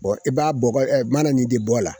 i b'a bɔgɔ mana nin de bɔ a la